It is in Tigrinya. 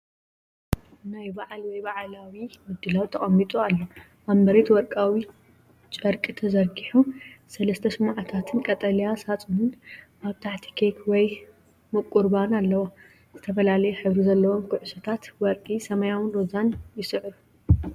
ናይ በዓል ወይ በዓላዊ ምድላው ተቐሚጡ ኣሎ። ኣብ መሬት ወርቃዊ ጨርቂ ተዘርጊሑ፡ሰለስተ ሽምዓታትን ቀጠልያ ሳጹንን ኣብ ታሕቲ ኬክ ወይ ምቁር ባኒ ኣለዎ። ዝተፈላለየ ሕብሪ ዘለዎም ኩዕሶታት (ወርቂ፡ ሰማያውን ሮዛን) ይስርዑ።